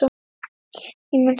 Ég mun sakna þess mikið.